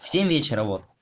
в семь вечера вот